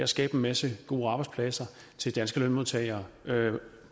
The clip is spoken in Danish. skabe en masse gode arbejdspladser til danske lønmodtagere